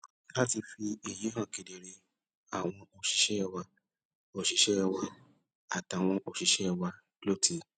láti fi èyí hàn kedere àwọn òṣìṣé wa òṣìṣé wa àtàwọn òṣìṣé wa ló ti